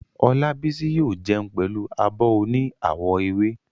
Olábísí yóò jẹun pẹ̀lú abọ́ oní àwọ̀ ewé